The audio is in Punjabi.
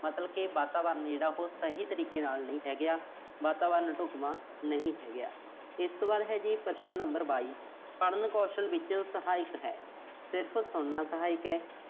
ਮਤਲਬ ਵਾਤਾਵਰਣ ਜਿਹੜਾ ਉਹੋ ਸਹੀ ਤਰੀਕੇ ਦੇ ਨਾਲ ਨੀਂ ਹੈਗਾ। ਵਾਤਾਵਰਣ ਢੁੱਕਵਾਂ ਨਹੀਂ ਹੈਗਾ। ਇਸ ਤੋਂ ਬਾਅਦ ਹੈ ਜੀ ਪ੍ਰਸ਼ਨ number ਬਾਈ। ਪੜ੍ਹਨ ਕੌਸ਼ਲ ਦੇ ਵਿੱਚ ਸਹਾਇਕ ਹੈ। ਸਿਰਫ਼ ਸੁਣਨਾ ਸਹਾਇਕ ਹੈ।